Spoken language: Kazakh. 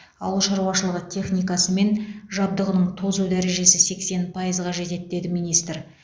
ауыл шаруашылығы техникасы мен жабдығының тозу дәрежесі сексен пайызға жетеді деді министр